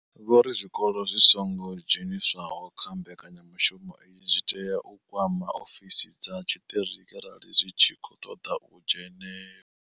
Vho ri zwikolo zwi songo dzheniswaho kha mbekanyamushumo iyi zwi tea u kwama ofisi dza tshiṱiriki arali zwi tshi khou ṱoḓa u dzhenela.